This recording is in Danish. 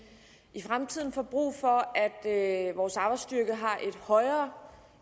i fremtiden får brug for at vores arbejdsstyrke har et højere